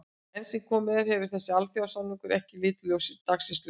Enn sem komið er hefur þessi alþjóðasamningur ekki litið dagsins ljós.